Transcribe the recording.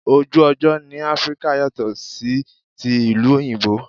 Ojú ọjọ́ ni Áfríkà yàtò sí ti ìlú òyìnbó.